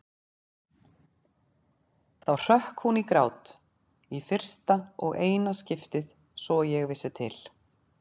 Þá hrökk hún í grát, í fyrsta og eina skiptið svo ég vissi til.